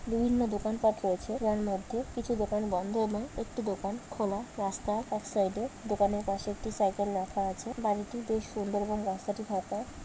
বিভিন্ন দোকানপাত রয়েছে যার মধ্যে কিছু দোকান বন্ধ এবং একটি দোকান খোলা রাস্তা এক সাইড এ দোকানের পাশে একটি সাইকেল রাখা আছে বাড়িটি বেশ সুন্দর এবং রাস্তাটি ফাঁকা।